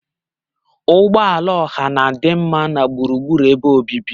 Ụgbọ ala ọha na-adị mma na gburugburu ebe obibi.